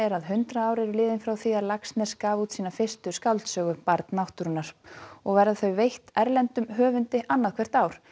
að hundrað ár eru liðin frá því að Laxness gaf út sína fyrsta skáldsögu barn náttúrunnar og verða þau veitt erlendum höfundi annað hvert ár